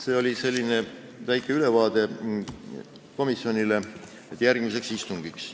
See oli väike ülevaade komisjonile järgmiseks istungiks.